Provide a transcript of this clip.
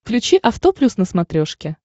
включи авто плюс на смотрешке